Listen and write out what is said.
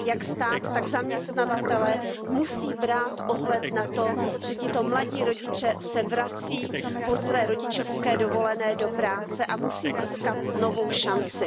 jak stát, tak zaměstnavatelé musí brát ohled na to, že tito mladí rodiče se vrací po své rodičovské dovolené do práce a musí získat novou šanci.